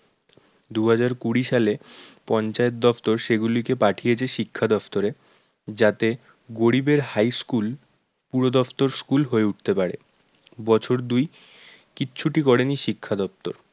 দু হাজার কুড়ি সালে পঞ্চায়েত দপ্তর সেগুলিকে পাঠিয়েছে শিক্ষা দপ্তরে যাতে গরিবের high school পুরো দপ্তর school হয়ে উঠতে পারে। বছর দুই কিচ্ছুটি করেনি শিক্ষা দপ্তর